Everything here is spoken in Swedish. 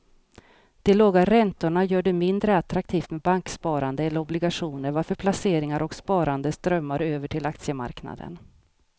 De låga räntorna gör det mindre attraktivt med banksparande eller obligationer varför placeringar och sparande strömmar över till aktiemarknaden.